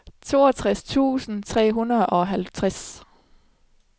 toogtres tusind tre hundrede og halvtreds